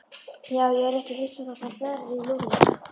Já, ég yrði ekki hissa þótt hann berði Lúlla.